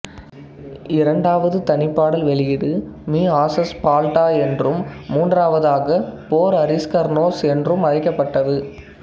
இரண்டாவது தனிப்பாடல் வெளியீடு மீ ஹாசஸ் பால்டா என்றும் மூன்றாவதாக போர் அரீஸ்கர்னோஸ் என்றும் அழைக்கப்பட்டது